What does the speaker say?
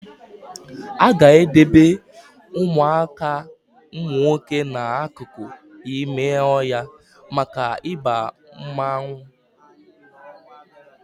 Aga edebe Ụmụaka umunwoke na akụkụ ime ọhịa maka Ịba mmanwụ